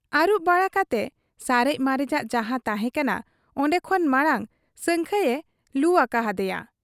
ᱟᱹᱨᱩᱵ ᱵᱟᱲᱟ ᱠᱟᱛᱮ ᱥᱟᱨᱮᱡ ᱢᱟᱨᱮᱡᱟᱜ ᱡᱟᱦᱟᱸ ᱛᱟᱦᱮᱸ ᱠᱟᱱᱟ ᱚᱱᱰᱮ ᱠᱷᱚᱱ ᱢᱟᱬᱟᱝ ᱥᱟᱹᱝᱠᱷᱟᱹᱭᱮ ᱞᱩ ᱟᱠᱟ ᱦᱟᱫᱮᱭᱟ ᱾